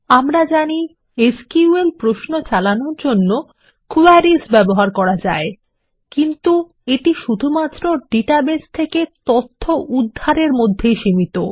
আমরা জানি এসকিউএল প্রশ্ন চালানোর জন্য কোয়েরিস চালানো যায় কিন্তু এটি কেবল ডাটাবেস থেকে তথ্য উদ্ধারের মধ্যেই সীমিত